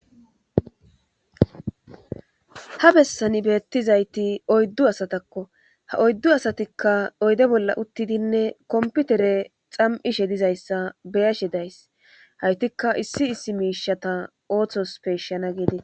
ha bessani beettizayti oyddu asatakko ha oyddu asatikka oyde bolla uttidinne komputere xam7ishe dizayssa beyashe days haytikka issi issi miishata ooththos peeshshana geedee